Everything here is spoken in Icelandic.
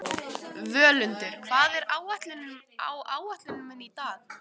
Völundur, hvað er á áætluninni minni í dag?